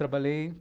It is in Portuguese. Trabalhei.